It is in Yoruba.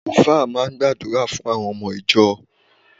Àlùfáà máa ń gbàdúrà fún àwọn ọmọ ìjọ.